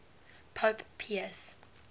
pope pius